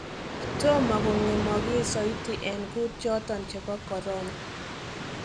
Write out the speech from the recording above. Toomo kogemogiis soiti en kuut choton chebo corona.